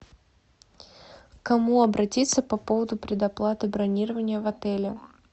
к кому обратиться по поводу предоплаты бронирования в отеле